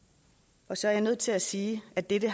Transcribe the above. så er jeg nødt til at sige at dette